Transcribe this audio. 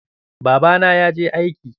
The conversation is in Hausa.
Babana ya je aiki.